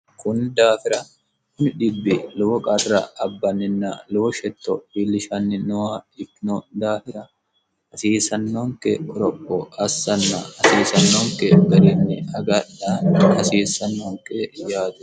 kun daafira id lowo qarra abbanninna lowo shetto wiillishanni nowa ikino daafira hasiisannonke oroko assanna hasiisannonke ba'renyi haga'laani hasiissannonke yaatu